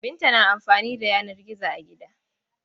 Binta na amfani da yanar gizo a gida.